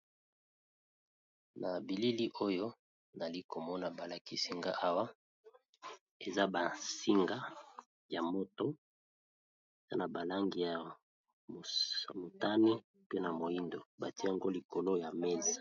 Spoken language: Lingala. Na bilili oyo nazalikomona balakisinga Awa eza ba singa ya moto eza na ba langi ya motani pe na moyindo batiye yango na mesa.